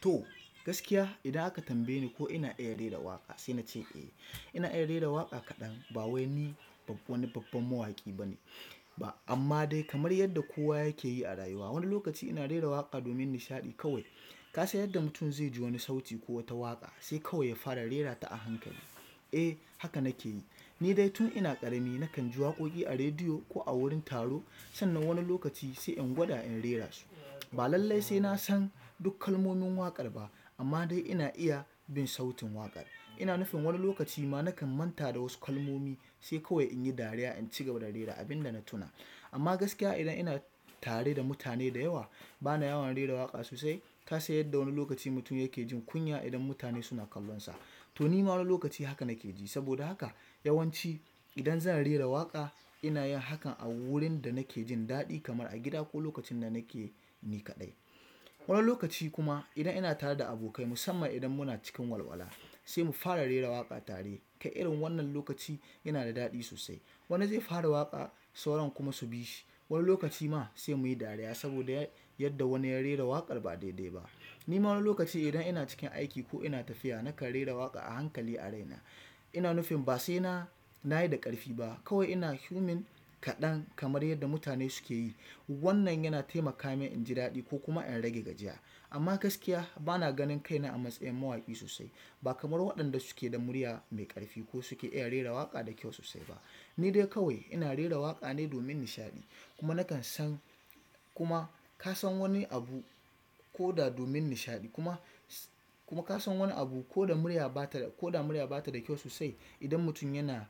To, gaskiya idan aka tambaye ni ko ina iya rera waƙa sai na ce eh ina iya rera waƙa kaɗan ba wai ni wani babban mawaƙi bane ba amma dai kamar yadda kowa yake yi a rayuwa. Wani lokaci ina rera waƙa domin nishaɗi kawai. Ka san yadda mutum zai ji wani sauti ko wata waƙa sai kawai ya fara rera ta a hankali. Eh haka nake yi. Ni dai tun ina ƙarami nakan ji waƙoƙi a rediyo ko a wurin taro sannan wani lokaci sai in gwada in rera su. Ba lallai sai na san duk kalmomin waƙar ba, amma dai ina iya bin sautin waƙar. Ina nufin wani lokaci ma nakan manta da wasu kalmomi sai kawai in yi dariya in ci gaba da rera abin da na tuna. Amma gaskiya idan ina tare da mutane da yawa bana yawan rera waƙa sosai. Ka san yadda wani lokaci mutum yake jin kunya idan mutane suna kallonsa, to ni ma wani lokaci haka nake ji. Saboda haka yawanci idan zan rera waƙa ina yin hakan a wurin da nake jin daɗi kamar a gida ko lokacin da nake ni kaɗai. Wani lokaci kuma idan ina tare da abokai musamman idan muna cikin walwala sai mu fara rera waƙa tare. Kai irin wannan lokaci yana da daɗi sosai. Wani zai fara waƙa sauran kuma su bi shi. Wani lokaci ma sai muyi dariya saboda yadda wani ya rera waƙar ba daidai ba. Ni ma wani lokaci idan ina cikin aiki ko ina tafiya nakan rera waƙa a hankali a raina. Ina nufin ba sai na, na yi da ƙarfi ba kawai ina 'humming', kaɗan kamar yadda mutane suke yi. Wannan yana taimaka min in ji daɗi ko kuma in rage gajiya. Amma gaskiya bana ganin kaina a matsayin mawaƙi sosai. Ba kamar waɗanda suke da murya mai ƙarfi ko suke iya rera waƙa da kyau sosai ba. Ni dai kawai ina rera waƙa ne domin nishaɗi, kuma nakan san kuma ka san wani abu ko da domin nishaɗi kuma, kuma ka san wani abu ko da murya ba ta, ko da murya ba ta da kyau sosai idan mutum yana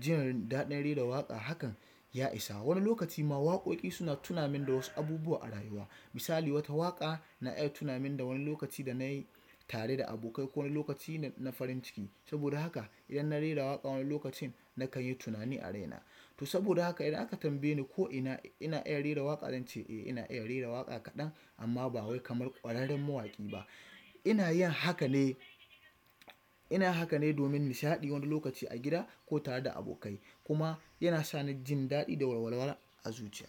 jinin daɗin rera waƙa hakan ya isa. Wani lokaci ma waƙoƙi suna tuna min da wasu abubuwa a rayuwa. Misali wata waƙa na iya tuna min da wani lokaci dana yi tare da abokai ko wani lokaci na farin ciki. Saboda haka idan na rera waƙa wani lokacin nakan yi tunani a raina. To saboda haka idan aka tambaye ni ko ina, ina iya rera waƙa zan ce eh ina iya rera waƙa kaɗan amma ba wai kamar ƙwararren mawaƙi ba. Ina yin haka ne, ina haka ne domin nishaɗi wani lokaci a gida ko tare da abokai kuma yana sa ni jin daɗi da walwala a zuciya.